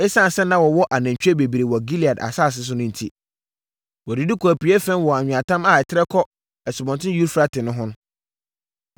Esiane sɛ na wɔwɔ anantwie bebree wɔ Gilead asase so no enti, wɔdidi kɔɔ apueeɛ fam wɔ anweatam a ɛtrɛ kɔ Asubɔnten Eufrate no ho.